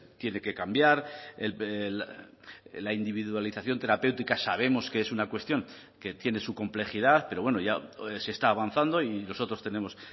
tiene que cambiar la individualización terapéutica sabemos que es una cuestión que tiene su complejidad pero bueno ya se está avanzando y nosotros tenemos